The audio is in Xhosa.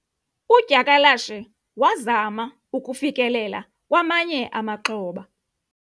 udyakalashe wazama ukufikelela kwamanye amaxhoba